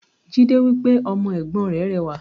Jídé wípé "Ọmọ Ègbón rè rẹwà"